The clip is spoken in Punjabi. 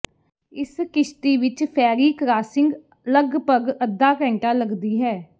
ਇਸ ਕਿਸ਼ਤੀ ਵਿਚ ਫੈਰੀ ਕਰਾਸਿੰਗ ਲਗਭਗ ਅੱਧਾ ਘੰਟਾ ਲੱਗਦੀ ਹੈ